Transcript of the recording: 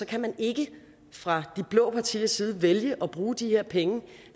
kan man ikke fra de blå partiers side vælge at bruge de her penge